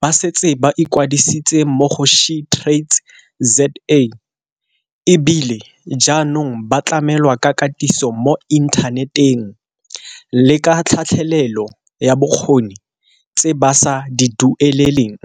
ba setse ba ikwadisitse mo go SheTradesZA e bile jaanong ba tlamelwa ka katiso mo inthaneteng le ka tlhatlhelelo ya bokgoni tse ba sa di dueleleng.